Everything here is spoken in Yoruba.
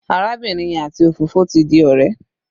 Arábìnrin yẹn àti òfófó ti di ọ̀rẹ́.